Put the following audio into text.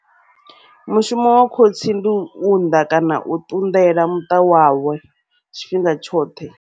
Mushumo wa khotsi ndi u unnḓa kana u ṱunḓela muṱa wawe tshifhinga tshoṱhe.